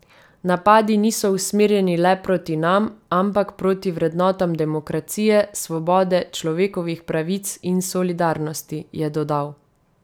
Napadi niso usmerjeni le proti nam, ampak proti vrednotam demokracije, svobode, človekovih pravic in solidarnosti, je dodal.